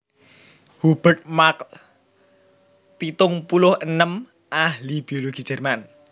Hubert Markl pitung puluh enem ahli biologi Jerman